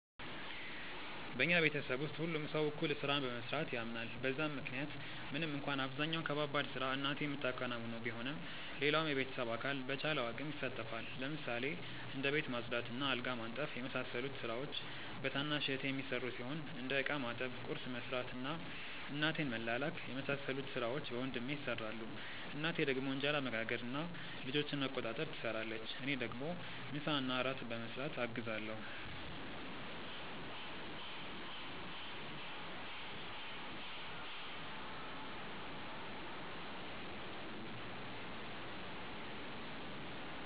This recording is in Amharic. በኛ ቤተሰብ ውስጥ ሁሉም ሰው እኩል ስራን በመስራት ያምናል በዛም ምክንያት ምንም እንኳን አብዛኛውን ከባባድ ስራ እናቴ ምታከናውነው ቢሆንም ሌላውም የቤተሰብ አካል በቻለው አቅም ይሳተፋል። ለምሳሌ እንደ ቤት ማጽዳት እና አልጋ ማንጠፍ የመሳሰሉት ስራዎች በታናሽ እህቴ የሚሰሩ ሲሆን እንደ እቃ ማጠብ፣ ቁርስ መስራት እና እናቴን መላላክ የመሳሰሉት ሥራዎች በወንድሜ ይሰራሉ። እናቴ ደግሞ እንጀራ መጋገር እና ልጆችን መቆጣጠር ትሰራለች። እኔ ደግሞ ምሳና እራት በመስራት አግዛለሁ።